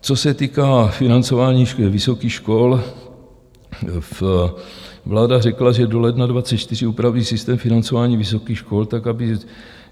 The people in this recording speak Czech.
Co se týká financování vysokých škol, vláda řekla, že do ledna 2024 upraví systém financování vysokých škol tak, aby